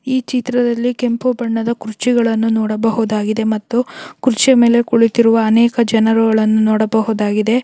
ಈ ಚಿತ್ರದಲ್ಲಿ ಕೆಂಪು ಬಣ್ಣದ ಕುರ್ಚಿಗಳನ್ನು ನೋಡಬಹುದಾಗಿದೆ ಮತ್ತು ಕುರ್ಚಿ ಮೇಲೆ ಕುಳಿತಿರುವ ಅನೇಕ ಜನರುಗಳನ್ನು ನೋಡಬಹುದಾಗಿದೆ.